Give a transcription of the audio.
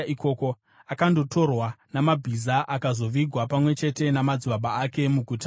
Akandotorwa namabhiza akazovigwa pamwe chete namadzibaba ake muGuta reJudha.